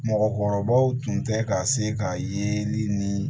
Mɔgɔkɔrɔbaw tun tɛ ka se ka yeli ni